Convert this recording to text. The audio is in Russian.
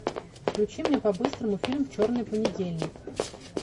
включи мне по быстрому фильм черный понедельник